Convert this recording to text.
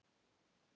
Þar á meðal Haukar.